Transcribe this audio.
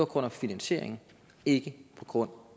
grund af finansieringen ikke på grund